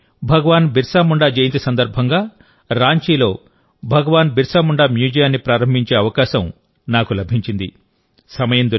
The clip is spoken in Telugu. గత ఏడాది భగవాన్ బిర్సా ముండా జయంతి సందర్భంగారాంచీలో భగవాన్ బిర్సా ముండా మ్యూజియాన్ని ప్రారంభించే అవకాశం నాకు లభించింది